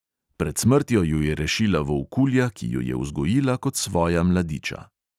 Pred smrtjo ju je rešila volkulja, ki ju je vzgojila kot svoja mladiča.